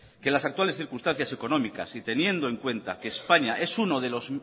que en las actuales circunstancias económicas y teniendo en cuenta que españa es uno de los